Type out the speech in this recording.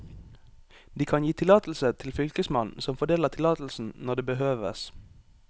De kan gi tillatelse til fylkesmannen, som fordeler tillatelsen når det behøves.